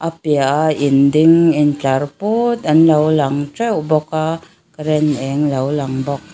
a piahah in ding in tlar pût anlo lang teuh bawk a ren eng lo lang bawk.